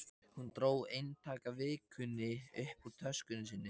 Hún dró eintak af Vikunni upp úr töskunni sinni.